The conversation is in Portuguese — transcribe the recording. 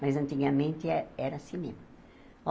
Mas, antigamente, eh era cinema.